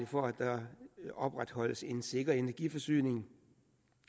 for at der opretholdes en sikker energiforsyning